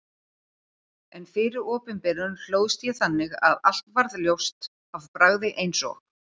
En fyrir opinberun hlóðst ég þannig að allt varð ljóst af bragði eins og